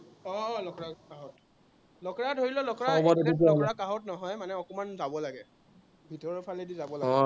আহ আহ লখৰাৰ কাষত হয়। লখৰাৰ ধৰি ল লখৰাৰ কাষত নহয় মানে অকমান যাব লাগে, ভিতৰৰ ফালেদি যাব লাগে